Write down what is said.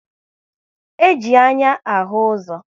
E ji anya ahụ ụzọ